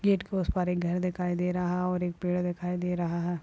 Gate के उस पार एक घर दिखाई दे रहा और एक पेड़ दिखाई दे रहा हैं।